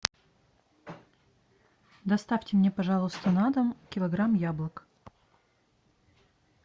доставьте мне пожалуйста на дом килограмм яблок